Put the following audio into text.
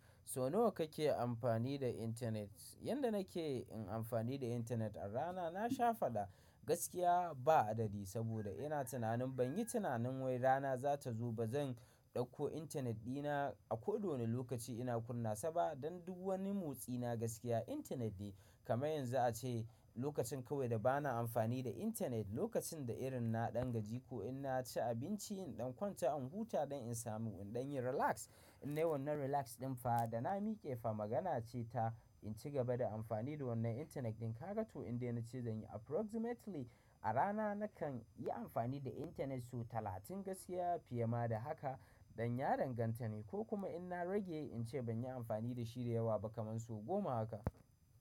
So nawa kake amfani da internet? Yanda nake in amfani da internet a rana na sha faɗa gaskiya ba adadi saboda ina tunanin ban yi tunanin wai rana za ta zo ba zan ɗauko internet dina a ko wane lokaci ina kunna saba dan duk wani motsi na gaskiya internet ne. Kamar yanzu ace lokacin kawai da bana amfani da internet lokacin da irin na ɗan gaji ko in na ci abinci in ɗan kwanta in huta dan insamu in dan yin relax. In nayi wannan relax ɗin fa da na miƙe fa magana ce ta in ci gaba da amfani da wannan internet ɗin kaga to inda nace zanyi approximately a rana nakan yi amfani da internet so talatin gaskiya fiye ma da haka dan ya danganta ne ko kuma in na rage in ce ban yi amfani da shi da yawa ba kaman so goma haka.